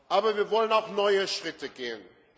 Aber wir wollen auch neue Schritte gehen.